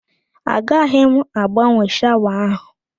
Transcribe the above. Agaghị m agbanwe shawa áhụ̀.